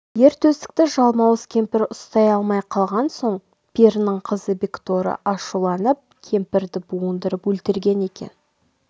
ер төстікті жалмауыз кемпір ұстай алмай қалған соң перінің қызы бекторы ашуланып кемпірді буындырып өлтірген екен